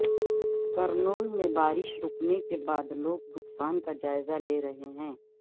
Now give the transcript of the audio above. کرنول میں بارش رکنے کے بعد لوگ نقصان کا جائزہ لے رہے ہیں